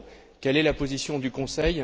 Quelle est la position du Conseil?